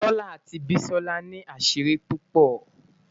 tola ati bisola ni asiri pupo